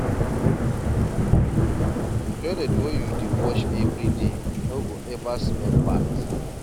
Toilet wey you dey wash every day no go ever smell bad.